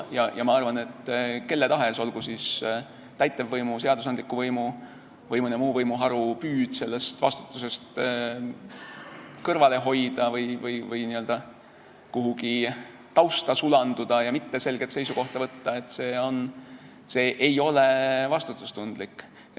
Ma arvan, et kelle tahes, täitevvõimu, seadusandliku võimu või mõne muu võimuharu püüd sellest vastutusest kõrvale hoida või n-ö kuhugi tausta sulanduda ja mitte selget seisukohta võtta ei ole vastutustundlik.